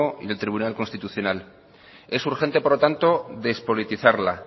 y el tribunal constitucional es urgente por lo tanto despolitizarla